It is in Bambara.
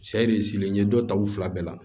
Sari silen ye dɔ ta u fila bɛɛ la